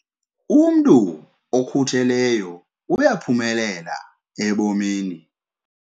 Umntu okhutheleyo uyaphumelela ebomini.